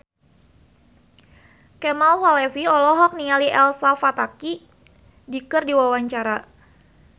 Kemal Palevi olohok ningali Elsa Pataky keur diwawancara